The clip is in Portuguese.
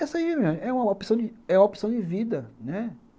Essa aí é uma opção é opção de vida, né?